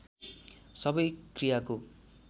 सबै क्रियाको